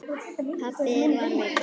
Pabbi var veikur.